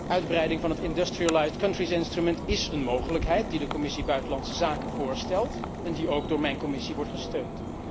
Uitbreiding van het Industrialised Countries Instrument is een mogelijkheid die de Commissie buitenlandse zaken voorstelt en die ook door mijn commissie wordt gesteund.